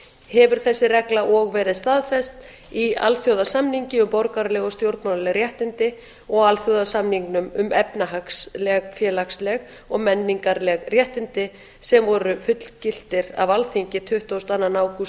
hefur þessi regla og verið staðfest í alþjóðasamningi um borgaraleg og stjórnmálaleg réttindi og alþjóðasamningnum um efnahagsleg félagsleg og menningarleg réttindi sem voru fullgiltir af alþingi tuttugasta og áttunda ágúst